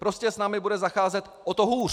Prostě s námi bude zacházet o to hůř.